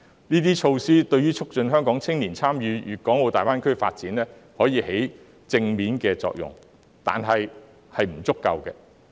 這些措施對促進香港青年參與粵港澳大灣區的發展發揮正面作用，但這仍是不足夠的。